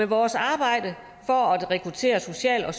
vores arbejde for at rekruttere social og